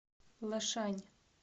лэшань